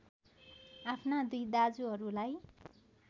आफ्ना दुई दाजुहरूलाई